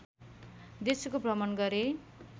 देशको भ्रमण गरे